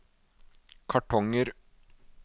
kartonger